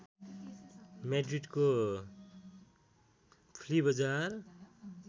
म्याड्रिडको flea बजार